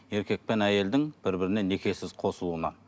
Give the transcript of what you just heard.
еркек пен әйелдің бір біріне некесіз қосылуына